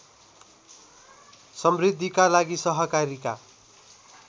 समृद्धिका लागि सहकारीका